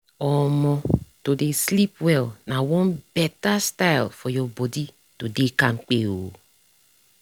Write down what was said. omo to dey sleep well na one better style for your body to dey kampke oh